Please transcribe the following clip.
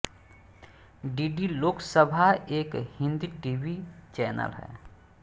DD Lok Sabha एक Hindi T V channel है